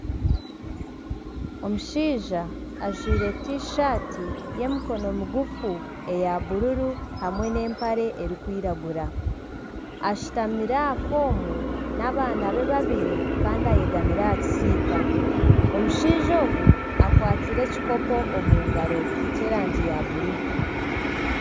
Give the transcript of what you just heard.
Omushaija ajwaire tishati y'emikono migufu eya bururu hamwe nana empare erikwiragura ashutamire aha foomu n'abaana be babiri kandi ayegamire aha kisiika, omushaija ogu akwatsire ekikopo omu ngaro ekyerangi ya bururu.